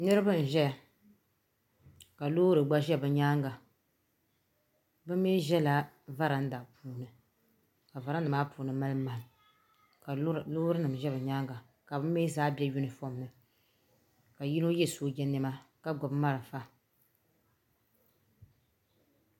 niriba n ʒɛya ka lori gba ʒɛya be nyɛŋa bɛ mi ʒɛla varindani ka varinda maa puuni mali mahim ka lori nim ʒɛ be nyɛŋa ka be mi zaa bɛ yuni ƒɔmini ka yino yɛ sojanima ka gbabi mariƒɔ